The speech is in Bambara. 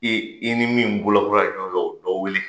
E i ni min bolabola fɛ, o dɔ weele.